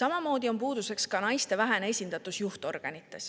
Samamoodi on puuduseks naiste vähene esindatus juhtorganites,